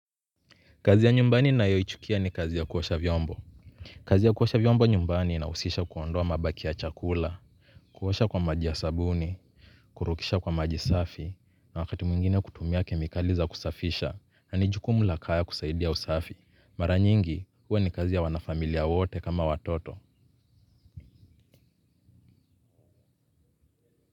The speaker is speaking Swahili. Kazi ya nyumbani nayo ichukia ni kazi ya kuosha vyombo. Kazi ya kuosha vyombo nyumbani inahusisha kuondoa mabaki ya chakula. Kuosha kwa maji ya sabuni, kurukisha kwa maji safi, na wakati mwingine kutumia kemikali za kusafisha, na nijukumu lakaya kusaidia usafi. Maranyingi, uwe ni kazi ya wanafamilia wote kama watoto.